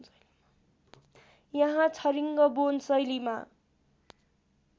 यहाँ छरिङ्गबोन शैलीमा